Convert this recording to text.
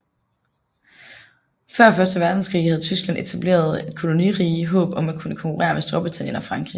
Før første verdenskrig havde Tyskland etableret et kolonirige i håb om at kunne konkurrere med Storbritannien og Frankrig